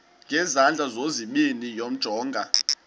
ngezandla zozibini yamjonga